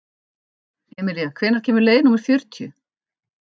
Emilía, hvenær kemur leið númer fjörutíu?